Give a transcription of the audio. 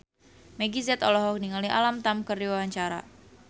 Meggie Z olohok ningali Alam Tam keur diwawancara